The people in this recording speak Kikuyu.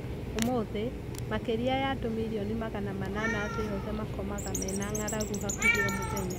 umũthĩ, makĩria ya andũ mirioni magana manana thĩ yothe makomaga mena ng'aragu hakuhĩ o mũthenya